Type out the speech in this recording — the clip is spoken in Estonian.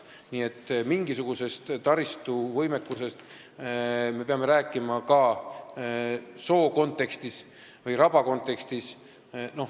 Nii et mingisugusest taristuvõimekusest me peame rääkima ka soo või raba kontekstis.